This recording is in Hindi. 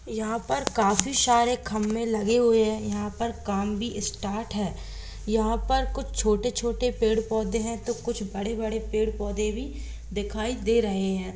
यहा पर काफी सारे खंबे लगे हुए है यहा पर काम भी स्टार्ट है यहा पर कुछ छोटे-छोटे पेड़-पोधे है तो कुछ बड़े-बड़े पेड़-पौधे भी दिखाई दे रहे हैं।